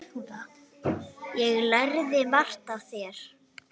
Ég lærði margt af þér.